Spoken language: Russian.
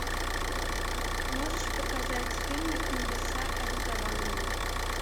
можешь показать фильмик небеса обетованные